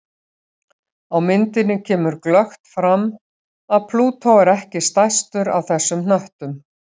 Á myndinni kemur glöggt fram að Plútó er ekki stærstur af þessum hnöttum.